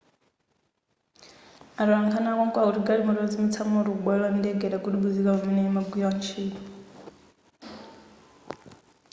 atolankhani akonko akuti galimoto yozimitsa moto kubwalo la ndege idagudubuzika pamene imagwira ntchito